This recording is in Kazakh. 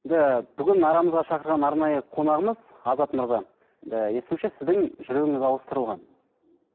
бүгін арамызға шақырған арнайы қонағымыз азат мырза енді естуімше сіздің жүрегіңіз ауыстырылған